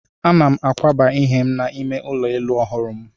Ana m akwaba ihe m n'ime ụlọ elu ọhụrụ m.